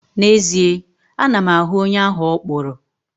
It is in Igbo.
N'ezie, ana m ahụ onye ahụ ọ kpụrụ.